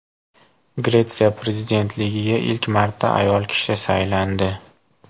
Gretsiya prezidentligiga ilk marta ayol kishi saylandi.